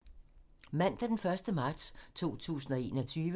Mandag d. 1. marts 2021